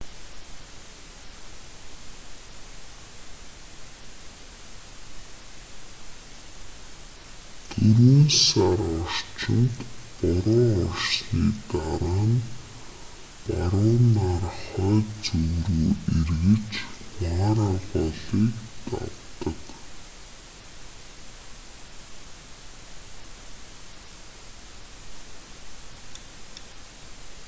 дөрвөн сар орчимд бороо орсны дараа нь баруунаар хойд зүг рүү эргэж мара голыг давдаг